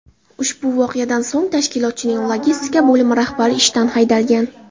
Ushbu voqeadan so‘ng tashkilotning logistika bo‘limi rahbari ishdan haydalgan.